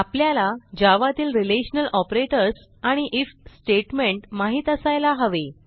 आपल्याला जावा तील relational operators आणि आयएफ स्टेटमेंट माहित असायला हवे